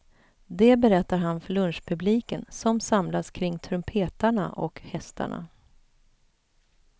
Det berättar han för lunchpubliken som samlas kring trumpetarna och hästarna.